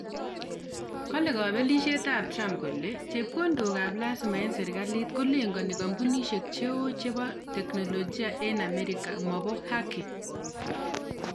Kale Kapelishiet ap trump kole chepkondok ap lazima eng serikalit kolengani kampunishek cheo chebo teknolojia eng amerika maboo haki.